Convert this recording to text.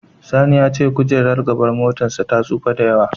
Sani ya ce kojerar gaban motarsa ta tsufa sosai.